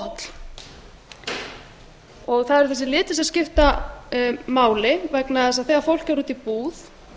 óholl það eru þessir litir sem skipta máli vegna þess að þegar fólk fer út í búð